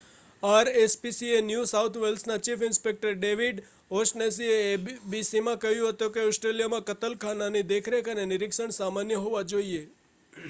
RSPCA new south વેલ્સના chief inspector David ઓ'શનેસીએ એબીસીને કહ્યું હતું કે ઓસ્ટ્રેલિયામાં કતલખાનાની દેખરેખ અને નિરીક્ષણ સામાન્ય હોવા જોઈએ